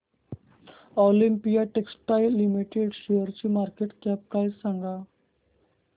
Olympia textiles limited शेअरची market cap price सांगा